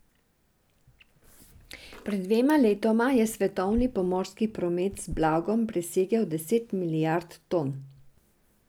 Pred dvema letoma je svetovni pomorski promet z blagom presegel deset milijard ton.